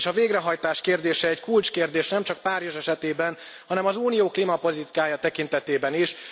És a végrehajtás kérdése kulcskérdés, nemcsak Párizs esetében, hanem az Unió klímapolitikája tekintetében is.